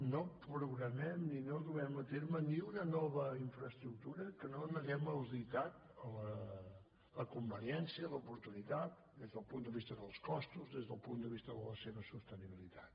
no programem i no duem a terme ni una nova infraestructura que no n’haguem auditat la conveniència l’oportunitat des del punt de vista dels costos des del punt de vista de la seva sostenibilitat